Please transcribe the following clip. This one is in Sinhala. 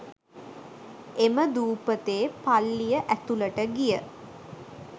එම දුපතේ පල්ලිය ඇතුළට ගිය